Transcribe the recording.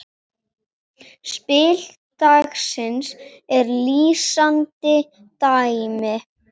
Spil dagsins er lýsandi dæmi.